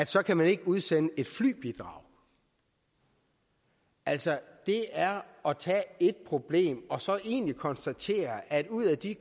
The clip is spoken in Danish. så kan vi ikke udsende et flybidrag altså det er at tage ét problem og så egentlig konstatere at ud af de